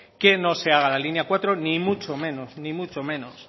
que no se haga la línea cuatro ni mucho menos ni mucho menos